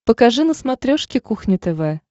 покажи на смотрешке кухня тв